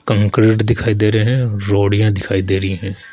Concrete दिखाई दे रहे हैं रोड़ियां दिखाई दे रही हैं।